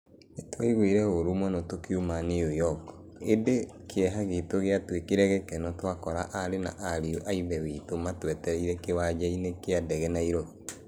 Nĩ twaiguire ũũru mũno tũkiuma New York, ĩndĩ kĩeha gitũ gĩatuĩkire gĩkeno twakora aarĩ na ariũ a Ithe witũ matwetereire kĩwanja-inĩ kĩa ndege Nairobi.